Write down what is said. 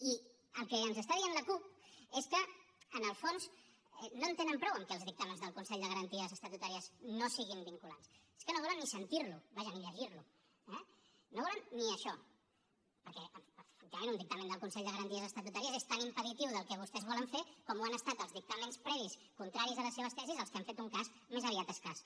i el que ens està dient la cup és que en el fons no en tenen prou amb que els dictàmens del consell de garanties estatutàries no siguin vinculants és que no volen ni sentir lo vaja ni llegir lo eh no volen ni això perquè efectivament un dictamen del consell de garanties estatutàries és tan impeditiu del que vostès volen fer com ho han estat els dictàmens previs contraris a les seves tesis dels que han fet un cas més aviat escàs